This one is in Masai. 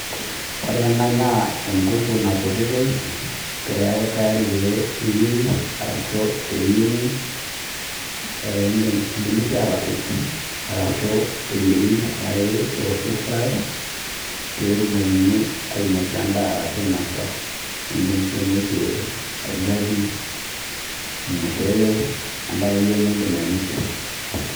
Wore ena naa enkiku naputitoi, peeku tayari peeyieri, arashu pee eyiengi, idimi sii aatepej arashu eyieri arashu eoshi fry, pee etumokini ainosie endaa arashu ainosa. Iindim sii ainosie orgali, ormushele, endaa akeyie niidim ainosie.